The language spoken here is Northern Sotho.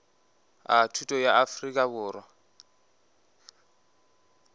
a thuto bja afrika borwa